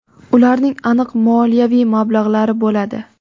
ularning aniq moliyaviy mablag‘lari bo‘ladi.